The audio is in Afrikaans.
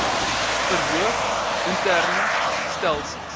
verhoog interne stelsels